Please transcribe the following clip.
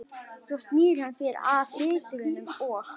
Svo snýr hann sér að riturunum og